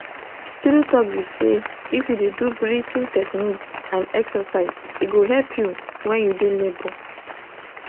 true talk be say if u de do breathing techniques and exercise e go help you when you de labour